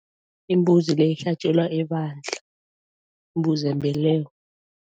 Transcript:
Imbuzi le ihlatjelwa ebandla, imbuzi yembeleko.